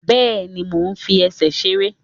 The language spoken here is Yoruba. Bẹ́ẹ̀ni, mo fi ẹsẹ̀ ṣèṣe